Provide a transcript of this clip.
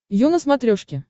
ю на смотрешке